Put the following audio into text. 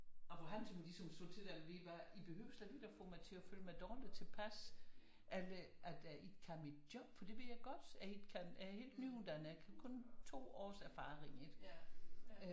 Og hvor han sådan ligesom slog til den levevej I behøves slet ikke at få mig til at føle mig dårlig tilpas at jeg ikke kan mit job fordi det ved jeg godt at jeg ikke kan jeg er helt nyuddannet jeg kan kun 2 års erfaring ikke